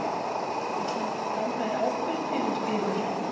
Vill nokkur ganga í ábyrgð fyrir yður?